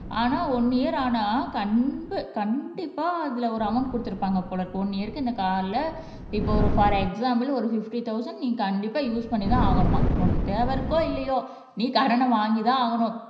ஆனா one year ஆனா கண்டி கண்டிப்பா அதுல ஒரு அமௌன்ட் கொடுத்திருப்பாங்க போல இருக்கு ஒன் இயர்க்கு இந்த கார்ட்ல இப்ப ஒரு போர் எக்ஸாம்பிள் ஒரு பிப்டி தொளசண்ட் நீங்க கண்டிப்பா யூஸ் பண்ணிதான் ஆகணுமாம் உனக்கு தேவை இருக்கோ இல்லையோ நீ கடன வாங்கித்தான் ஆகணும்